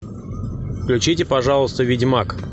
включите пожалуйста ведьмак